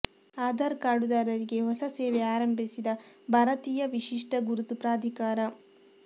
ಆಧಾರ್ ಕಾರ್ಡುದಾರರಿಗೆ ಹೊಸ ಸೇವೆ ಆರಂಭಿಸಿದ ಭಾರತೀಯ ವಿಶಿಷ್ಟ ಗುರುತು ಪ್ರಾಧಿಕಾರ